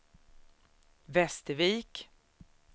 Västervik